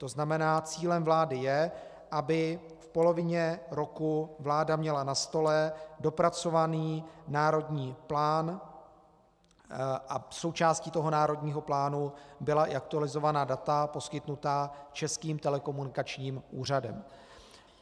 To znamená, cílem vlády je, aby v polovině roku vláda měla na stole dopracovaný národní plán a součástí toho národního plánu byla i aktualizovaná data poskytnutá Českým telekomunikačním úřadem.